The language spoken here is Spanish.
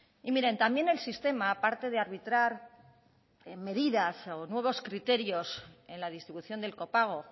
y miren también el sistema aparte de arbitrar medidas o nuevos criterios en la distribución del copago